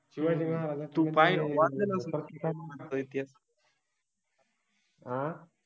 हा शिवाजि महाराजांबद्दल, तु काय वाचलेय का शिवाजि महाराजांबद्दल चा इतिहास, आ